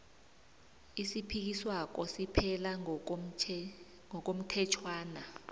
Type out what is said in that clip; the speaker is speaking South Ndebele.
esiphikiswako siphela ngokomthetjhwana